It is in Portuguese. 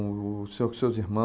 O senhor com os seus irmãos?